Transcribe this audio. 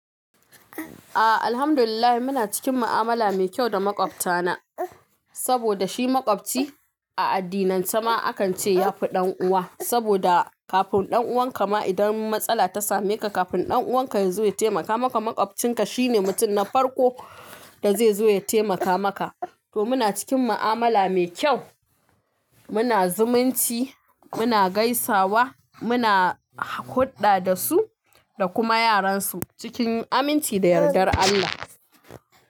A'a, alhamdulillah muna cikin ma'amala mai kyau da maƙwabta na. Saboda shi maƙwabci a addinan cema akan ce ya fi ɗan'uwa. Saboda kafin ɗan'uwan ka ma idan matsala ta same ka, kafin ɗan'uwan ka ya zo ya taimaka maka, maƙwabcinka shine mutum na farko da zai zo ya taimaka maka. To muna cikin ma'amala mai kyau. Muna zumunci, muna gaisawa, muna huɗɗa da su da kuma yaran su cikin aminci da yardar Allah.